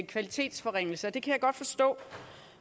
kvalitetsforringelse det kan jeg godt forstå